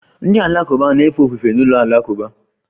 Ndị Alakụba na-efe ofufe n'ụlọ alakụba